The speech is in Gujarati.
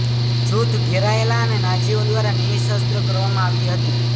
જૂથ ઘેરાયેલા અને નાઝીઓ દ્વારા નિઃશસ્ત્ર કરવામાં આવી હતી